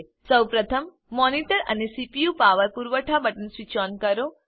સૌપ્રથમ મોનિટર અને સીપીયુનું પાવર પુરવઠા બટન સ્વીચ ઓન કરો